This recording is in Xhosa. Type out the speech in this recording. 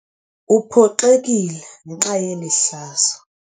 Uphoxekile ngenxa yeli hlazo.